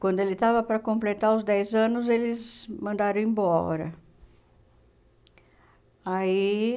Quando ele estava para completar os dez anos, eles mandaram embora. Aí